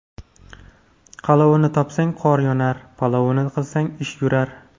Qalovini topsang, qor yonar, palovini qilsang ish yurar.